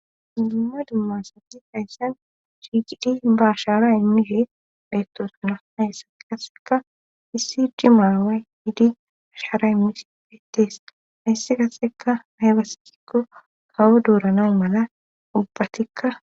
Mimumma dummasati hayssan chiiqidi bashara immihe bheettosuna haysse qaseka issi dimaawe hidi ashaara imisi fetees haysse kaseka aybasigikko kawo duuranau mala ubbatikka